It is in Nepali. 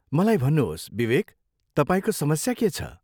मलाई भन्नुहोस्, विवेक, तपाईँको समस्या के छ?